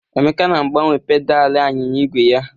Emeka na-agbanwe pedalị anyịnya igwe ya.